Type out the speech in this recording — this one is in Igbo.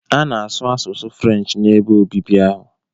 A na-asụ asụsụ Furenchi n'ebe oriri ahụ.